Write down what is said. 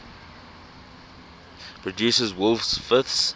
produces wolf fifths